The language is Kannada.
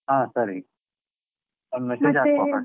ಹಾ ಸರಿ, ಒಂದ್ message .